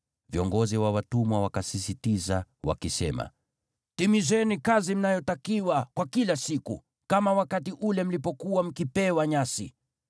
Viongozi wa watumwa wakasisitiza, wakisema, “Timizeni kazi mnayotakiwa kwa kila siku, kama wakati ule mlipokuwa mkipewa nyasi.”